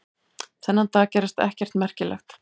Þennan dag gerðist ekkert merkilegt.